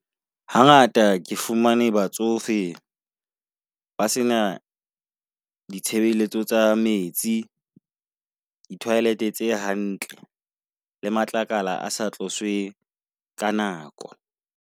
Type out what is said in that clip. Hangata ke fumane batsofe ba sena ditshebeletso tsa metsi, di toilet tse hantle, le matlakala a sa tloswe ka nako.